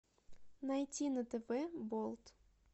найти на тв болт